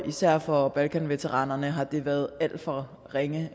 især for balkanveteranerne har det været alt for ringe